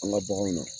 An ka baganw na